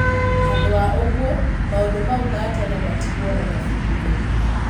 Handũ wa ũguo, maũndũ mau ma tene matigwo o-mabukuinĩ.